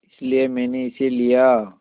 इसलिए मैंने इसे लिया